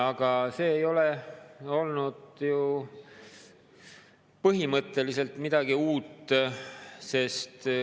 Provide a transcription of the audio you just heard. Aga see ei ole ju põhimõtteliselt midagi uut.